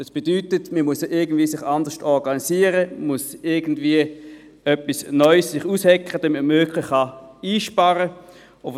Das bedeutet, dass man sich irgendwie anders organisieren muss, man muss etwas Neues aushecken, damit man wirklich einsparen kann.